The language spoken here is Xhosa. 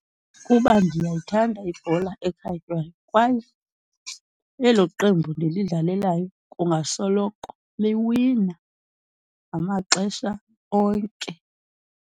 Kuba ndiyayithanda ibhola ekhatywayo kwaye elo qembu ndilidlalelayo kungasoloko liwina ngamaxesha onke.